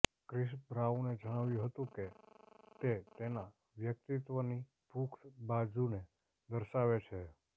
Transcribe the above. Chris બ્રાઉને જણાવ્યું હતું કે તે તેના વ્યકિતત્વની પુખ્ત બાજુને દર્શાવે છે